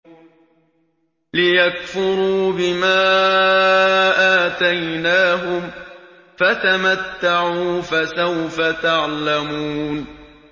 لِيَكْفُرُوا بِمَا آتَيْنَاهُمْ ۚ فَتَمَتَّعُوا فَسَوْفَ تَعْلَمُونَ